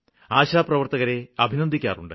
ആശാപ്രവര്ത്തകരെ അഭിനന്ദിക്കാറുണ്ട്